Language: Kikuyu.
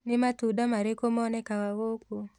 Nĩ matunda marĩkũ monekaga gũkũ?